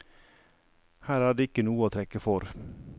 Her er det ikke noe å trekke for.